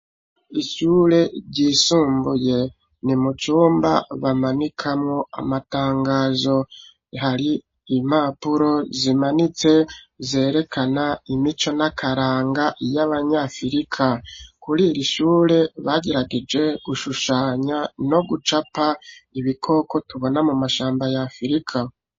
Ishure ryisumbuye ni mucumba bamanikamwo amatangazo hari imapuro zimanitse zerekana imico n'akaranga y'abanyafurika kuri iri ishure bagirageje gushushanya no gucapa ibikoko tubona mu mashamba ya firika.